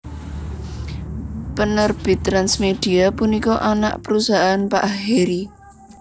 Penerbit TransMedia punika anak perusahaan Pak Harry